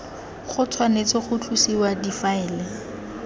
go tshwanetse ga tlosiwa difaele